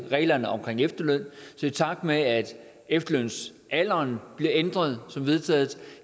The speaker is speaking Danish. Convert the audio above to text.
reglerne omkring efterløn så i takt med at efterlønsalderen bliver ændret som vedtaget